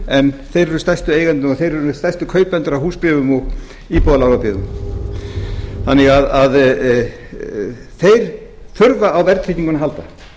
en þeir eru stærstu eigendurnir og þeir eru stærstu kaupendur að húsbréfum og íbúðarlánabyggðum þannig að þeir þurfa á verðtryggingunni að halda